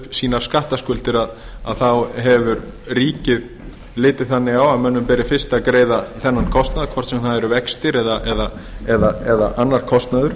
sínar skattskuldir þá hefur ríkið litið þannig á að mönnum beri fyrst að greiða þennan kostnað hvort sem það eru vextir eða annar kostnaður